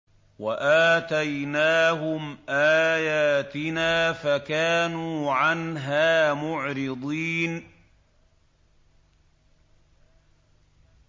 وَآتَيْنَاهُمْ آيَاتِنَا فَكَانُوا عَنْهَا مُعْرِضِينَ